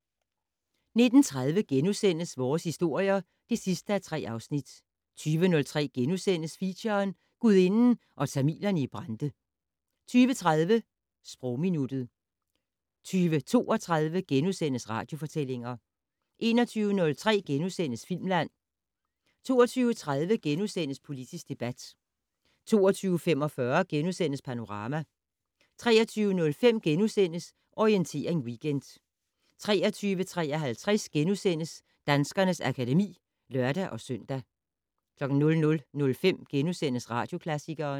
19:30: Vores historier (3:3)* 20:03: Feature: Gudinden og tamilerne i Brande * 20:30: Sprogminuttet 20:32: Radiofortællinger * 21:03: Filmland * 22:03: Politisk debat * 22:45: Panorama * 23:05: Orientering Weekend * 23:53: Danskernes akademi *(lør-søn) 00:05: Radioklassikeren *